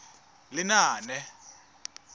lenaane